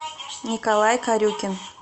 николай корюкин